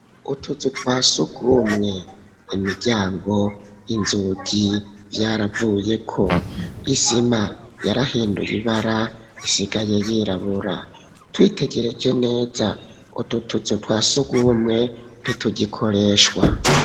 Utuzu twasugumwe imiryango, inzugi vyaravuyeko, isima yarahinduye ibara isigaye yirabura twitegereje neza ututuzu twasugumwe ntitugikoreshwa.